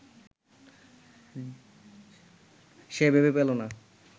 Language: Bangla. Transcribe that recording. সে ভেবে পেল না